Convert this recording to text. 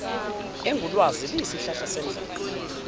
engulwazi iyisihlahla sendlela